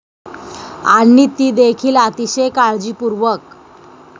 आणि तीदेखील अतिशय काळजीपूर्वक!